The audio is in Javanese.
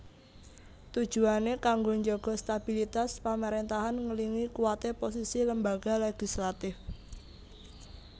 Tujuané kanggo njaga stabilitas pamaréntahan ngèlingi kuwaté posisi lembaga legislatif